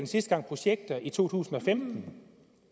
sidste gang projekter i to tusind og femten